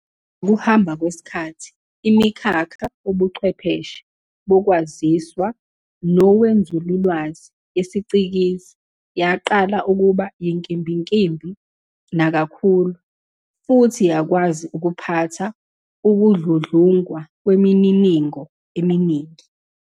Ngokuhamba kwesikhathi, imikhakha wobuchwepheshe boKwaziswa nowenzululwazi yesicikizi yaqala ukuba yinkimbinkimbi nakakhulu futhi yakwazi ukuphatha ukudludlungwa kwemininingo eminingi.